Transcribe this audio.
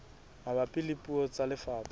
mabapi le puo tsa lefapha